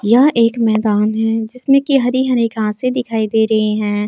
यह एक मैदान है जिसमें की हरी हरी घासें दिखाई दे रही है।